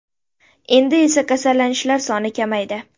Endi esa kasallanishlar soni kamaydi.